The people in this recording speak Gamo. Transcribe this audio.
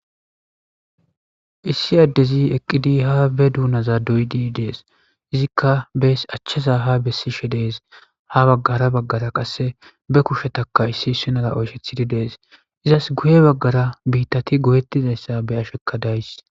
issi addezi eqqidi ha be duunaza doydi dees izikka bees achchaza ha bessishe dees ha baggara baggara qasse be kushetaka issi issinara oyshethidi dees izas guye baggara biittati goyettizayssa be ashekka days